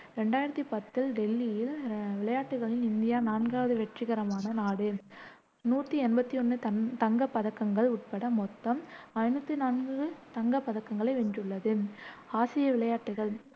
ரெண்டாயிரத்து பத்தில் டெல்லியில் விளையாட்டுகளில் இந்தியா நான்காவது வெற்றிகரமான நாடு நூத்தி எம்பத்தி ஒண்ணு தங்க் தங்கப் பதக்கங்கள் உட்பட மொத்தம் ஐநூத்தி நாலு தங்க பதக்கங்களை வென்றுள்ளது. ஆசிய விளையாட்டுகள்